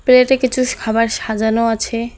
প্লেটে কিছুস খাবার সাজানো আছে।